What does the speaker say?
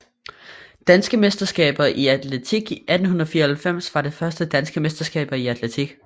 Danske mesterskaber i atletik 1894 var det første Danske mesterskaber i atletik